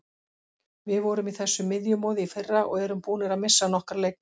Við vorum í þessu miðjumoði í fyrra og erum búnir að missa nokkra leikmenn.